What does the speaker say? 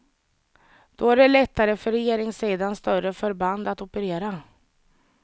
Då är det lättare för regeringssidans större förband att operera.